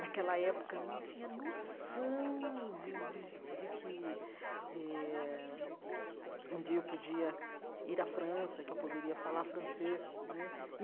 Naquela época, não tinha noção de de de que eh um dia eu podia ir à França, que eu poderia falar francês né.